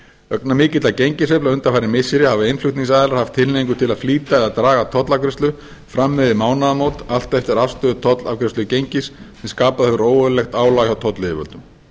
vegna mikilla gengissveiflna undanfarin missiri hafa innflutningsaðilar haft tilhneigingu til að flýta eða draga tollafgreiðslu fram yfir mánaðamót allt eftir afgreiðslu tollafgreiðslugengis sem skapað hefur óeðlilegt álag hjá tollyfirvöldum